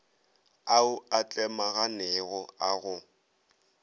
ao a tlemaganego a go